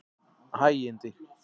Hægindi